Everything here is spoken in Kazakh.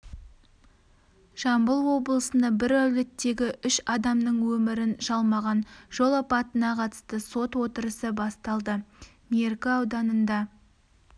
жамбыл облысында бір әулеттегі үш адамның өмірін жалмаған жол апатына қатысты сот отырысы басталды меркі ауданында